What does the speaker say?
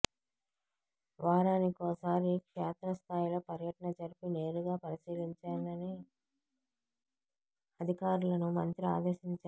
వారానికోసారి క్షేత్రస్థాయిలో పర్యటన జరిపి నేరుగా పరిశీలించాలని అధికారులను మంత్రి ఆదేశించారు